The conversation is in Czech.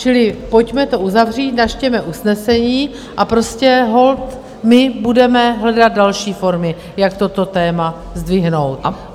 Čili pojďme to uzavřít, načtěme usnesení a prostě holt my budeme hledat další formy, jak toto téma zdvihnout.